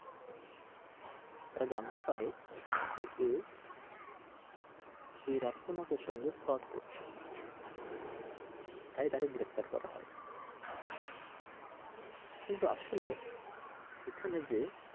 তারা জানতে পারে যে এ এ রাফসান হকের সঙ্গে fraud করছে তাই তাকে গ্রেফতার করা হয়। কিন্তু আসলে এখানে যে,